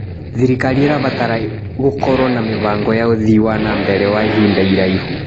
Thirikari ĩrabatara gũkorwo na mĩbango ya ũthii wa na mbere wa ihinda iraihu.